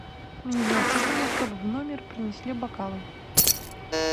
мне необходимо чтобы в номер принесли бокалы